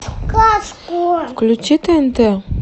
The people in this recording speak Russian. включи тнт